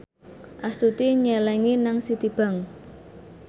Astuti nyelengi nang Citibank